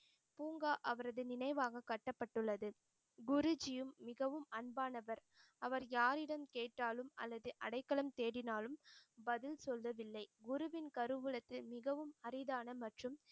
பூங்கா அவரது நினைவாக கட்டப்பட்டுள்ளது. குருஜியும் மிகவும் அன்பானவர். அவர் யாரிடம் கேட்டாலும் அல்லது அடைக்கலம் தேடினாலும் பதில் சொல்வதில்லை. குருவின் கருவூலத்தில் மிகவும் அரிதான மற்றும்